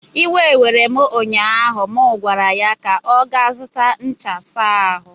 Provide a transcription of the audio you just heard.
iwe were m ụnyaahụ na m gwara ya ka ọ gaa zụta ncha were saa ahu!